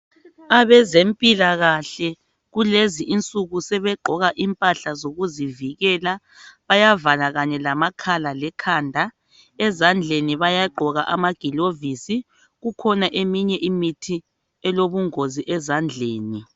Abezempilakahle kulezi insuku sebegqoka impahla zokuzivikela bayavala kanye lamakhala lekhanda ezandleni bayagqoka amagilovisi kukhona eminye imithi elobungozi ezandleni.